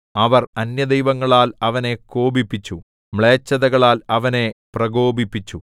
അവർ അന്യദൈവങ്ങളാൽ അവനെ കോപിപ്പിച്ചു മ്ലേച്ഛതകളാൽ അവനെ പ്രകോപിപ്പിച്ചു